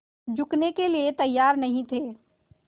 झुकने के लिए तैयार नहीं थे